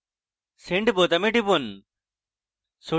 send বোতামে টিপুন